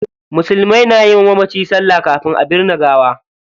Musulmai na yi wa mamaci salla kafin a binne gawa.